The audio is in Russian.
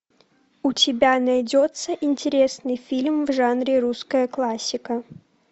у тебя найдется интересный фильм в жанре русская классика